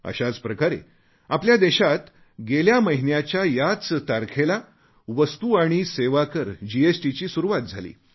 अशाच प्रकारे आपल्या देशात गेल्या महिन्याच्या याच तारखेला वस्तू आणि सेवा कर जीएसटीची सुरुवात झाली